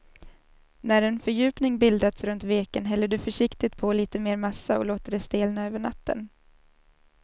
När en fördjupning bildats runt veken häller du försiktigt på lite mer massa och låter det stelna över natten.